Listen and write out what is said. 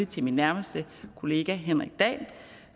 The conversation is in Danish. til min nærmeste kollega henrik dahl